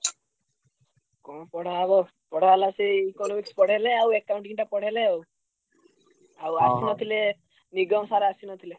କଣ ପଢା ହବ ପଢାହେଲା ସେଇ Economics ପଢାହେଲା ଆଉ Accounting ଟା ପଢେଇଲେ ଆଉ। ଆଉ ଆସିନଥିଲେ ନିଗମ sir ଆସିନଥିଲେ।